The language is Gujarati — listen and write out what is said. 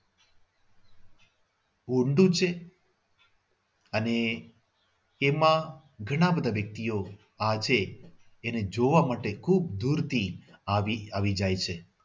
ઊંડું છે અને એમાં ઘણા બધા વ્યક્તિઓ આજે એને જોવા માટે ખૂબ દૂરથી આવી આવી જાય છે.